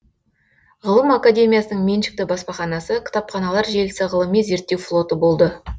ғылым академиясының меншікті баспаханасы кітапханалар желісі ғылыми зерттеу флоты болды